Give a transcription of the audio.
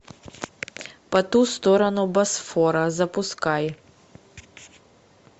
по ту сторону босфора запускай